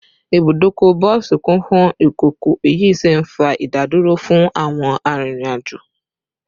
Ibùdókọ̀ bọ́ọ̀sì kún fún ìkọ̀kọ̀, èyí sì ń fa ìdádúró fún àwọn arìnrìn-àjò